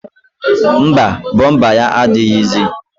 Mba, bọmba ya adịghịzi